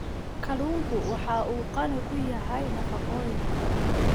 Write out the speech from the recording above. Kalluunku waxa uu qani ku yahay nafaqooyinka.